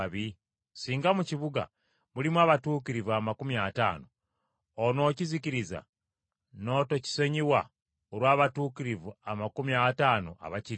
Singa mu kibuga mulimu abatuukirivu amakumi ataano onookizikiriza n’otokisonyiwa olw’abatuukirivu amakumi ataano abakirimu?